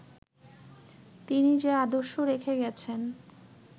তিনি যে আদর্শ রেখে গেছেন